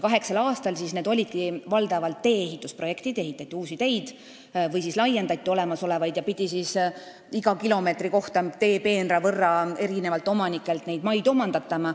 Kaheksal aastal oligi valdavalt tegu tee-ehitusprojektidega: ehitati uusi teid või siis laiendati olemasolevaid ja pidi iga kilomeetri teepeenra ehitamiseks eri omanikelt maad omandama.